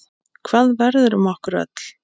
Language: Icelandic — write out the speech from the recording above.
Hvað verður um okkur öll?